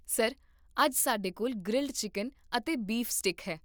sir, ਅੱਜ ਸਾਡੇ ਕੋਲ ਗ੍ਰਿਲਡ ਚਿੱਕਨ ਅਤੇ ਬੀਫ ਸਟੀਕ ਹੈ